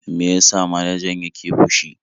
Me ya sa manajan yake fushi?